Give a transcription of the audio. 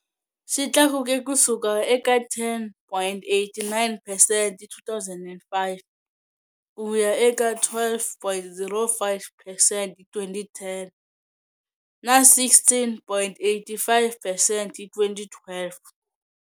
Xi tlakuke ku suka eka 10.89 percent hi 2005 ku ya eka 12.05 percent hi 2010 na 16.85 percent hi 2012.